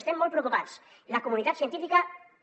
estem molt preocupats la comunitat científica també